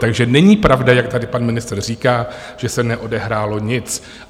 Takže není pravda, jak tady pan ministr říká, že se neodehrálo nic.